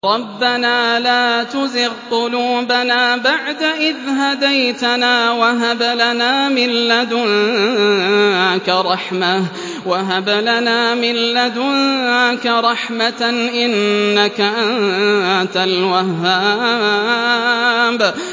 رَبَّنَا لَا تُزِغْ قُلُوبَنَا بَعْدَ إِذْ هَدَيْتَنَا وَهَبْ لَنَا مِن لَّدُنكَ رَحْمَةً ۚ إِنَّكَ أَنتَ الْوَهَّابُ